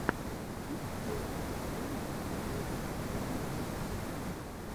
у тебя есть первая серия доуп ту ван ван ван